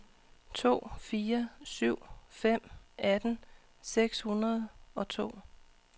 to fire syv fem atten seks hundrede og to